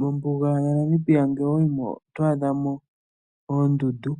Mombuga yaNamibia ngele wayimo oto adhamo oondundu